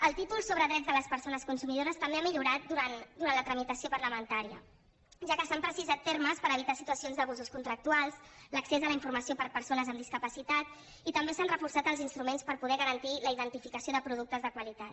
el títol sobre drets de les persones consumidores també ha millorat durant la tramitació parlamentària ja que s’han precisat termes per evitar situacions d’abusos contractuals l’accés a la informació per persones amb discapacitat i també s’han reforçat els instruments per poder garantir la identificació de productes de qualitat